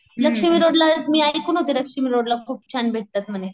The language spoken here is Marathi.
लक्ष्मीरोडला मी ऐकून होते लक्ष्मीरोडला खूप छान भेटतात म्हणे.